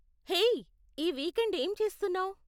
Hey, ఈ weekend ఏం చేస్తున్నావ్?